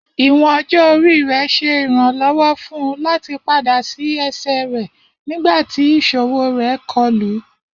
Iwọn ọjọ-ori rẹ ṣe iranlọwọ fun u lati pada si ẹsẹ rẹ nigbati iṣowo rẹ kọlu